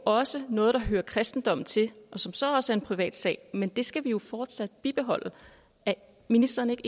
også noget der hører kristendommen til og som så også er en privat sag men det skal vi jo fortsat bibeholde er ministeren ikke